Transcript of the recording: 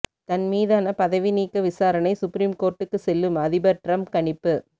தன் மீதான பதவி நீக்க விசாரணை சுப்ரீம் கோர்ட்டுக்கு செல்லும் அதிபர் டிரம்ப் கணிப்பு